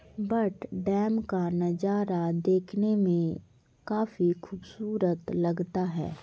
But dam का नजारा देखने मे काफी खूबसूरत लगता है ।